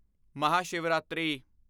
Mahashivratri